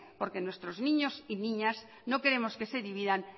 porque nuestros niños y niñas no queremos que se dividan